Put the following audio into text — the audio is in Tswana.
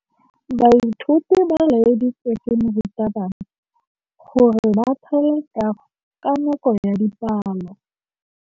Baithuti ba laeditswe ke morutabana gore ba thale kagô ka nako ya dipalô.